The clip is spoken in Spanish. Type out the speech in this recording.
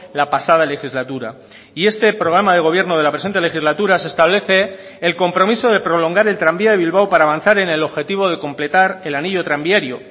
la pasada legislatura y este programa de gobierno de la presente legislatura se establece el compromiso de prolongar el tranvía de bilbao para avanzar en el objetivo de completar el anillo tranviario